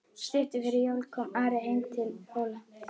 Stuttu fyrir jól kom Ari heim til Hóla.